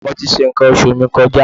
Mo ti ṣe nǹkan oṣù mi kọjá.